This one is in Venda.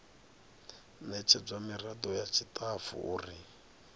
ṋetshedzwa miraḓo ya tshiṱafu uri